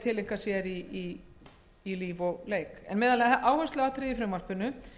tileinkar sér í lífi og starfi meðal áhersluatriða í frumvarpinu